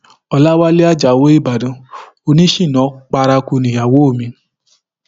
ọlàwálẹ ajáò ìbàdàn oníṣínà paraku nìyàwó mi